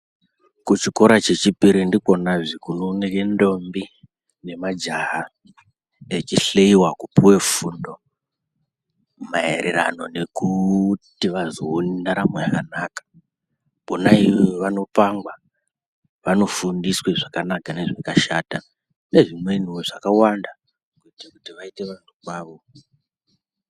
Ku chikora che chipiri ndikona zvee kuno oneke ndombi ne majaha echi hliwa kupuwe fundo maererano nekuti vazo one ndaramo yakanaka kona iyoyo vano pangwa vano fundiswe zvakanaka ne zvakashata ne zvimweniwo zvakawanda kuitire kuti vaite vantu kwavo.